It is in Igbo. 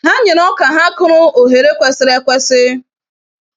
Ha nyere oka ha kụrụ ohere kwesịrị ekwesị.